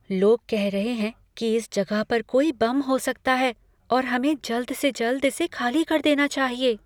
लोग कह रहे हैं कि इस जगह पर कोई बम हो सकता है, और हमें जल्द से जल्द इसे खाली कर देना चाहिए।